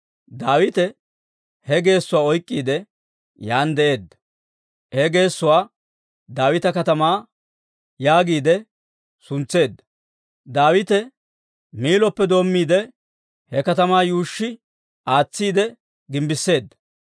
Daawite he geessuwaa oyk'k'iide, yaan de'eedda; he geessuwaa Daawita Katamaa yaagiide suntseedda. Daawite Miilloppe doommiide, he katamaa yuushshi aatsiide gimbbisseedda.